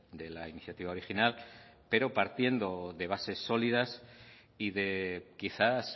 de la iniciativa original pero partiendo de bases sólidas y de quizás